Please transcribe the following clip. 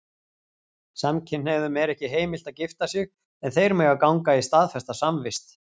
Samkynhneigðum er ekki heimilt að gifta sig, en þeir mega ganga í staðfesta samvist.